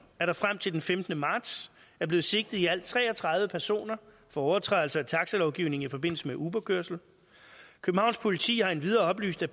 at der frem til den femtende marts er blevet sigtet i alt tre og tredive personer for overtrædelse af taxalovgivningen i forbindelse med uberkørsel københavns politi har endvidere oplyst at